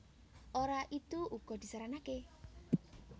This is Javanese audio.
Ora idu uga disaranaké